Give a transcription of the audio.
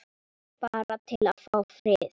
Bara til að fá frið.